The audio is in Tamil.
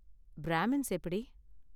பிராமின்ஸ் எப்படி?